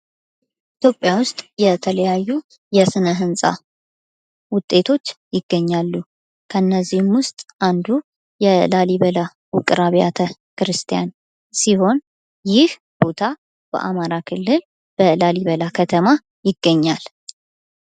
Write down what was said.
ኢትዮጵያ ውስጥ የተለያዩ የስነ ህንፃ ውጤቶች ይገኛሉ። ከነዚሁም ውስጥ አንዱ የላሊበላ ውቅር አብያተ ክርስቲያን ሲሆን ይህ ቦታ በአማራ ክልል በላሊበላ ከተማ ይገኛል።